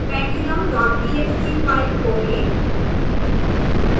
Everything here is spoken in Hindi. pendulumtxt फाइल खोलें